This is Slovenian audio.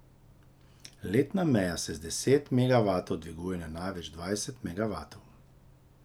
Letna meja se z deset megavatov dviguje na največ dvajset megavatov.